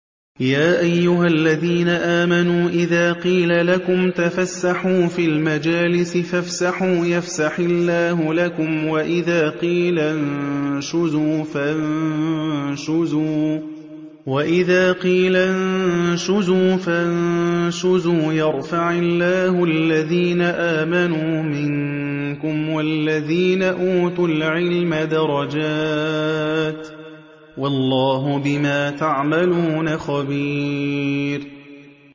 يَا أَيُّهَا الَّذِينَ آمَنُوا إِذَا قِيلَ لَكُمْ تَفَسَّحُوا فِي الْمَجَالِسِ فَافْسَحُوا يَفْسَحِ اللَّهُ لَكُمْ ۖ وَإِذَا قِيلَ انشُزُوا فَانشُزُوا يَرْفَعِ اللَّهُ الَّذِينَ آمَنُوا مِنكُمْ وَالَّذِينَ أُوتُوا الْعِلْمَ دَرَجَاتٍ ۚ وَاللَّهُ بِمَا تَعْمَلُونَ خَبِيرٌ